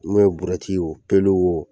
mun ye burɛti ye o pelu wo